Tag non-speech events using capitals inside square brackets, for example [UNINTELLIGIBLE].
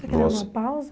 [UNINTELLIGIBLE] Você quer dar uma pausa?